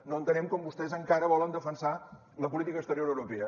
no entenem com vostès encara volen defensar la política exterior europea